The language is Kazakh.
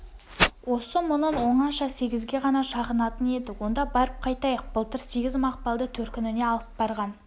осы мұңын оңаша сегізге ғана шағынатын еді онда барып қайтайық былтыр сегіз мақпалды төркініне алып барған